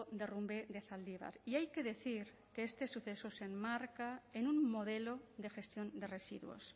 derrumbe de zaldibar y hay que decir que este suceso se enmarca en un modelo de gestión de residuos